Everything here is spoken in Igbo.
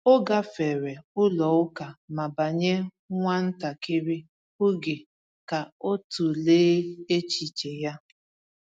O gafere ụlọ ụka ma banye nwa ntakịrị oge ka ọ tụlee echiche ya.